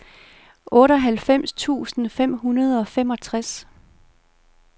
otteoghalvfems tusind fem hundrede og femogtres